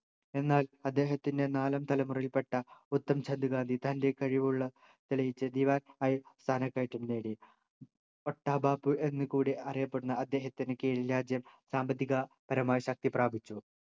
എന്നാൽ അദ്ദേഹത്തിൻ്റെ നാലാം തലമുറയിൽ പെട്ട ഉത്തംചന്ദ് ഗാന്ധി തൻ്റെ കഴിവുള്ള തെളിയിച്ചു ദിവാൻ ആയി സ്ഥാനക്കയറ്റം നേടി ഒട്ട ബാപ് എന്ന് കൂടി അറിയപ്പെടുന്ന അദ്ദേഹത്തിന് കീഴിൽ രാജ്യം സാമ്പത്തിക പരമ ശക്തി പ്രാപിച്ചു